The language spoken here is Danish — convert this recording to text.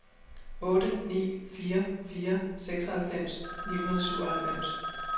otte ni fire fire seksoghalvfems ni hundrede og syvoghalvfems